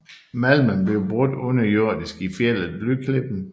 Malmen blev brudt underjordisk i fjeldet Blyklippen